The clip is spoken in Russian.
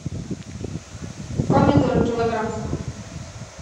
помидоры килограмм